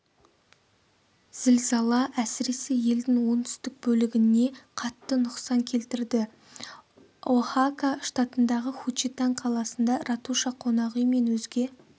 зілзала әсіресе елдің оңтүстік бөлігіне қатты нұқсан келтірді оахака штатындағы хучитан қаласында ратуша қонақүй мен өзге